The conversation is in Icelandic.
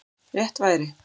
Rétt væri